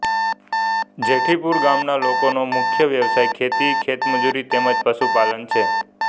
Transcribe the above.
જેઠીપુરા ગામના લોકોનો મુખ્ય વ્યવસાય ખેતી ખેતમજૂરી તેમ જ પશુપાલન છે